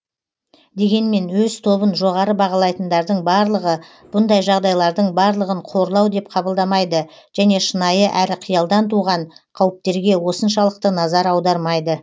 дегенмен өз тобын жоғары бағалайтындардың барлығы бұндай жағдайлардың барлығын қорлау деп қабылдамайды және шынайы әрі қиялдан туған қауіптерге осыншалықты назар аудармайды